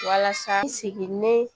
Walasa n sigi ne